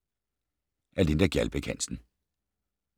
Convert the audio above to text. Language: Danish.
Af Linda Gjaldbæk Hansen